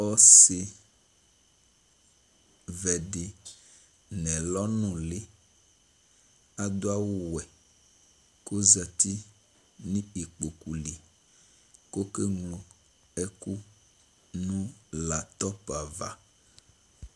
Ɔsi vɛ ditsi nɛlɔ nuli adu awuwɛ kozati nu ikpoku li kɔkeglo ɛku nu latɔp ava